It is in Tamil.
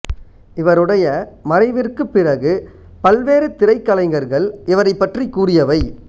இவருடைய மறைவிற்குப் பிறகு பல்வேறு திரைக்கலைஞர்கள் இவரைப் பற்றிக் கூறியவை